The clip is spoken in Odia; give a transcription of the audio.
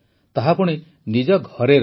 ତାହା ପୁଣି ନିଜ ଘରେ ରହି